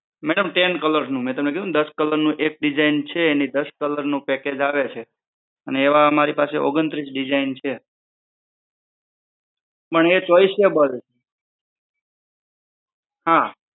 madam ten colour નું. મે તમને કીધું ને દસ colour નું એક design છે એની દસ colour નું package આવે છે અને એવા અમારી પાસે ઓગણત્રીશ design છે. પણ એ choiceable હા